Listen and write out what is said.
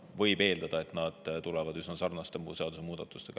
Võib eeldada, et nad ise tulevad lähiajal välja üsna sarnaste seadusemuudatustega.